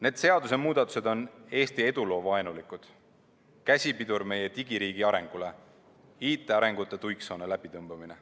Need seadusemuudatused on Eesti eduloo suhtes vaenulikud, käsipidur meie digiriigi arengule, IT‑arengu tuiksoone läbitõmbamine.